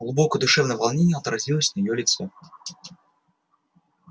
глубокое душевное волнение отразилось на её лице